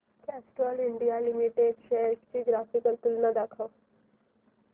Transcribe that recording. Castrol India limited shares ची graphical तुलना दाखव